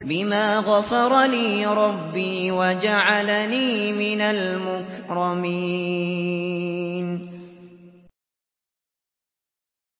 بِمَا غَفَرَ لِي رَبِّي وَجَعَلَنِي مِنَ الْمُكْرَمِينَ